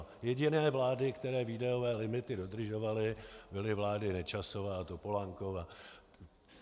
Jediné vlády, které výdajové limity dodržovaly, byly vlády Nečasova a Topolánkova.